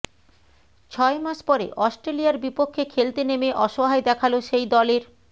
ছয় মাস পরে অস্ট্রেলিয়ার বিপক্ষে খেলতে নেমে অসহায় দেখালো সেই দলের